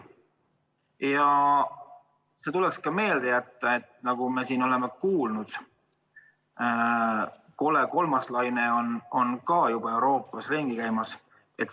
Ja seda tuleks ka arvestada, et nagu me oleme kuulnud, kole kolmas laine on juba Euroopas ringi käimas.